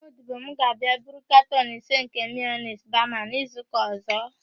Nwa odibo m ga-abịa buru katọn ise nke mayonis bama n'izuụka ọ̀zọ́.